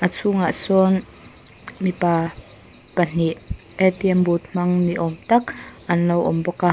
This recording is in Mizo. a chhungah sawn mipa pahnih boot hmang ni awm tak an lo awm bawk a.